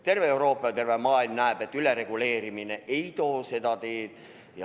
Terve Euroopa ja terve maailm näeb, et ülereguleerimine seda ei taga.